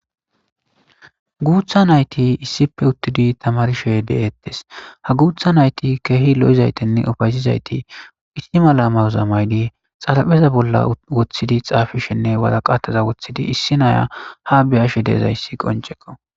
guutha nayti issippe uttidi tamarshey deettes ha guutha nayti keehi lo7izaytenne ofaysizayti ittima lamayozamaydi xalapheza bolla woththidi xaafishenne waraqataza woththidi issi naya ha beyashe deezayssi qonceqo